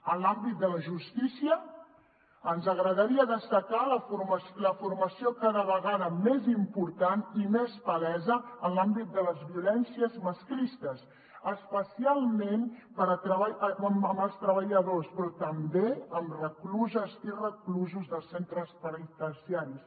en l’àmbit de la justícia ens agradaria destacar la formació cada vegada més important i més palesa en l’àmbit de les violències masclistes especialment per als treballadors però també a recluses i reclusos dels centres penitenciaris